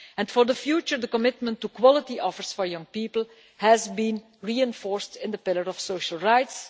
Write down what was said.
For the future, the commitment to quality offers for young people has been reinforced in the Pillar of Social Rights.